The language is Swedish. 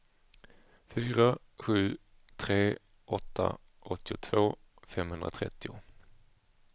fyra sju tre åtta åttiotvå femhundratrettio